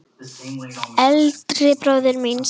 Eldri bróður míns?